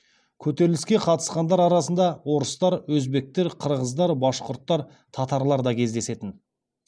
көтеріліске қатысқандар арасында орыстар өзбектер қырғыздар башқұрттар татарлар да кездесетін